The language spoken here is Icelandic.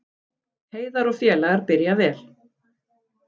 Heiðar og félagar byrja vel